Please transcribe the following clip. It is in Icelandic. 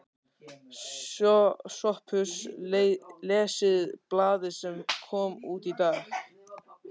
SOPHUS: Lesið blaðið sem kom út í dag.